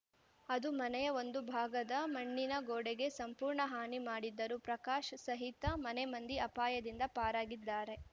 ಅದು ಮನೆಯ ಒಂದು ಭಾಗದ ಮಣ್ಣಿನ ಗೋಡೆಗೆ ಸಂಪೂರ್ಣ ಹಾನಿ ಮಾಡಿದ್ದು ಪ್ರಕಾಶ್ ಸಹಿತ ಮನೆಮಂದಿ ಅಪಾಯದಿಂದ ಪಾರಾಗಿದ್ದಾರೆ